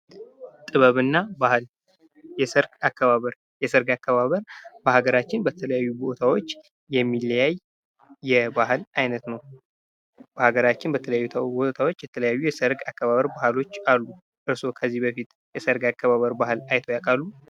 ጥበብ እና ባህል የሠርግ አከባበር የሠርግ አከባበር በሀገራችን በተለያዩ ቦታዎች የሚለያይ የባህል ዓይነት ነው። በአገራችን በተለያዩ ቦታዎች የተለያዩ የሰርግ አከባበር በዓሎች አሉ። እርሶ ከዚህ በፊት የሠርግ አከባበር ባህል አይተው ያውቃሉ።